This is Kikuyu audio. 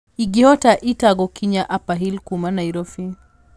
ingĩhota Ĩta gũkinya upperhill kuuma nairobi